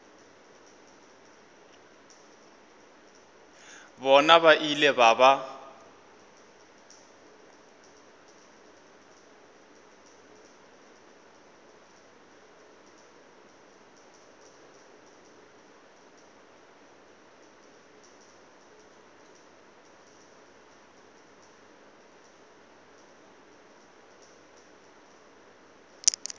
bona ba ile ba ba